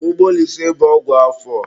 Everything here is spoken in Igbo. Gbogbolise bụ ọgwụ afọ.